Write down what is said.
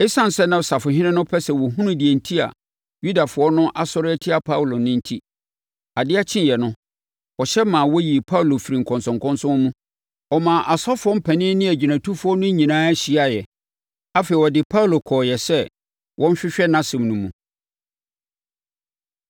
Esiane sɛ na ɔsafohene no pɛ sɛ ɔhunu deɛ enti a Yudafoɔ no asɔre atia Paulo no enti, adeɛ kyeeɛ no, ɔhyɛ maa wɔyii Paulo firii nkɔnsɔnkɔnsɔn mu. Ɔmaa asɔfoɔ mpanin ne agyinatufoɔ no nyinaa hyiaeɛ. Afei, ɔde Paulo kɔeɛ sɛ wɔnhwehwɛ nʼasɛm no mu.